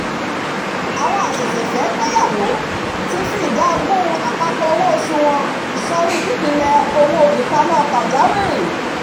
àwọn àṣẹ̀ṣẹ̀fẹ́-gbéyàwó ti fi ìdá ogún àpapọ̀ owó oṣù wọn sọrí i pípilẹ̀ owó ìpamọ́ pàjáwìrì